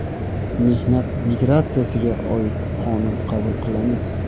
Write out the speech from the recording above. Mehnat migratsiyasiga oid qonun qabul qilamiz.